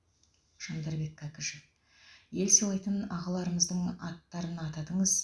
жандарбек кәкішев ел сыйлайтын ағаларымыздың аттарын атадыңыз